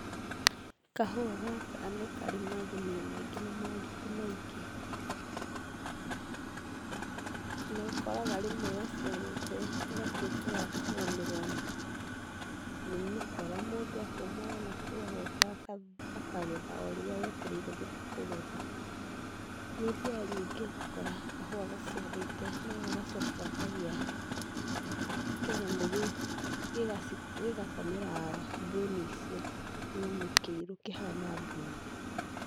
Kahũa gaka nĩkarĩ magerio maingĩ na moritũ maingĩ. Nĩũkoraga rĩmwe gaciarĩte gagatũĩka gakũgomerwo nĩ mĩkora. Mũndũ akauma o nakũu agoka akagetha o rĩrĩa wetereire gũthiĩ kũgetha. Nĩũthiaga nyingĩ ũgakora kahũa gaciarĩte nogagacoka gakagĩa kĩnyamũ gĩgakomera mbũni icio. Kĩnyamũ kĩirũ kihana mbuu.